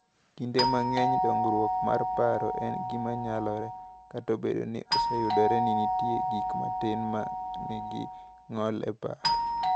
"Kinde mang’eny, dongruok mar paro en gima nyalore, kata obedo ni oseyudore ni nitie gik matin ma nigi ng’ol e paro."